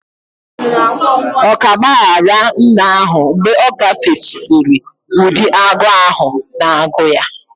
Ọ ka gbaghaara nna ahụ mgbe ọ gafesịrị ụdị agụụ ahụ na agụụ ya;